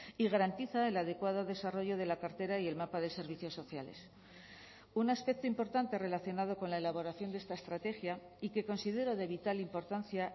y garantiza el adecuado desarrollo de la cartera y el mapa de servicios sociales un aspecto importante relacionado con la elaboración de esta estrategia y que considero de vital importancia